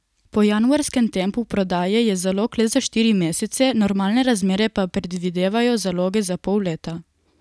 Po januarskem tempu prodaje je zalog le za štiri mesece, normalne razmere pa predvidevajo zaloge za pol leta.